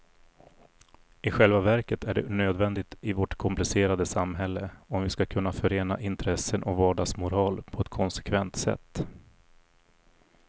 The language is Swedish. I själva verket är det nödvändigt i vårt komplicerade samhälle, om vi ska kunna förena intressen och vardagsmoral på ett konsekvent sätt.